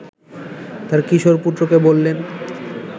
তাঁর কিশোর পুত্রকে বললেন